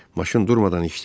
Maşın durmadan işləyir.